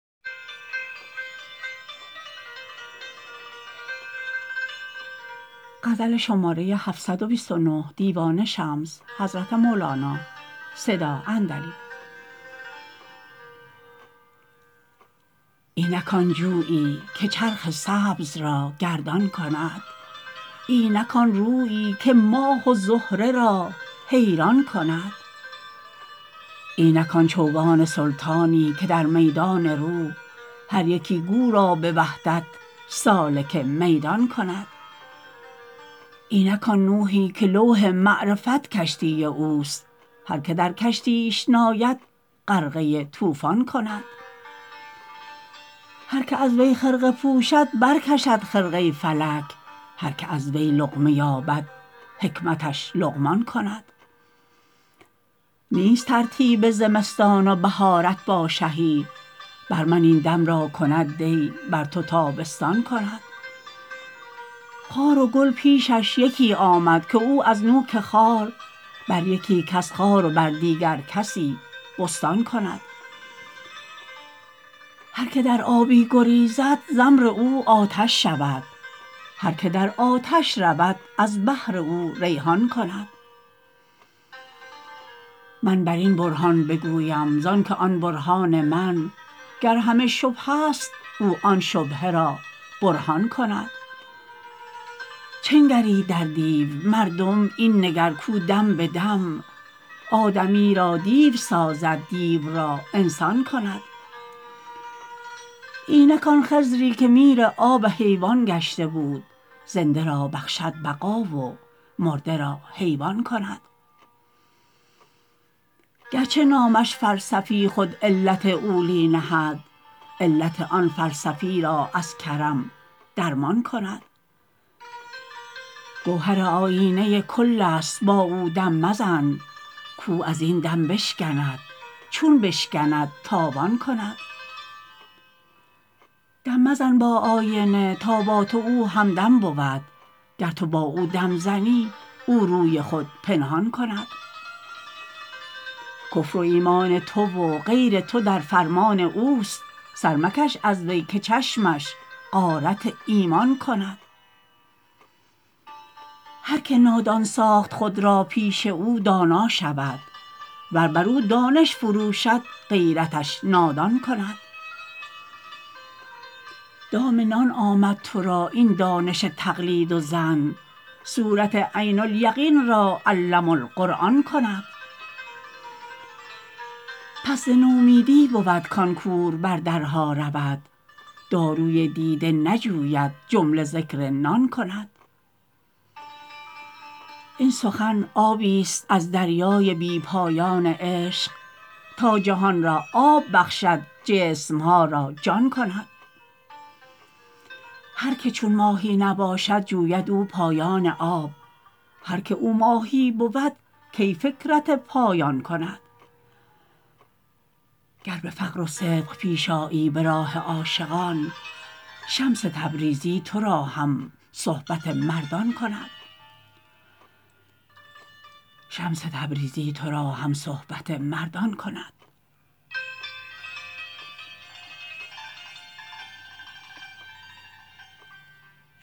اینک آن جویی که چرخ سبز را گردان کند اینک آن رویی که ماه و زهره را حیران کند اینک آن چوگان سلطانی که در میدان روح هر یکی گو را به وحدت سالک میدان کند اینک آن نوحی که لوح معرفت کشتی اوست هر که در کشتیش ناید غرقه طوفان کند هر که از وی خرقه پوشد برکشد خرقه فلک هر که از وی لقمه یابد حکمتش لقمان کند نیست ترتیب زمستان و بهارت با شهی بر من این دم را کند دی بر تو تابستان کند خار و گل پیشش یکی آمد که او از نوک خار بر یکی کس خار و بر دیگر کسی بستان کند هر که در آبی گریزد ز امر او آتش شود هر که در آتش شود از بهر او ریحان کند من بر این برهان بگویم زانک آن برهان من گر همه شبهه ست او آن شبهه را برهان کند چه نگری در دیو مردم این نگر کو دم به دم آدمی را دیو سازد دیو را انسان کند اینک آن خضری که میر آب حیوان گشته بود زنده را بخشد بقا و مرده را حیوان کند گرچه نامش فلسفی خود علت اولی نهد علت آن فلسفی را از کرم درمان کند گوهر آیینه کلست با او دم مزن کو از این دم بشکند چون بشکند تاوان کند دم مزن با آینه تا با تو او همدم بود گر تو با او دم زنی او روی خود پنهان کند کفر و ایمان تو و غیر تو در فرمان اوست سر مکش از وی که چشمش غارت ایمان کند هر که نادان ساخت خود را پیش او دانا شود ور بر او دانش فروشد غیرتش نادان کند دام نان آمد تو را این دانش تقلید و ظن صورت عین الیقین را علم القرآن کند پس ز نومیدی بود کان کور بر درها رود داروی دیده نجوید جمله ذکر نان کند این سخن آبیست از دریای بی پایان عشق تا جهان را آب بخشد جسم ها را جان کند هر که چون ماهی نباشد جوید او پایان آب هر که او ماهی بود کی فکرت پایان کند گر به فقر و صدق پیش آیی به راه عاشقان شمس تبریزی تو را هم صحبت مردان کند